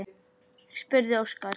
spurði Óskar.